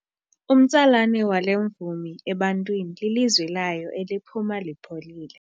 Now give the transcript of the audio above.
Umtsalane wale mvumi ebantwini lilizwi layo eliphuma lipholile.